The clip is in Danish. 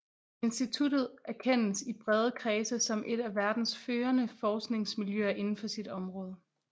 Instituttet anerkendes i brede kredse som et af verdens førende forskningsmiljøer inden for sit område